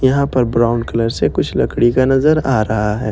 यहां पर brown colour से कुछ लकड़ी का नजर आ रहा है ।